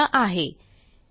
spoken tutorialorgnmeict intro